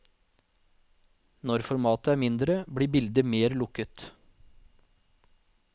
Når formatet er mindre, blir bildet mer lukket.